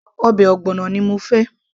ọbẹ̀ ogbono ni mo fẹ́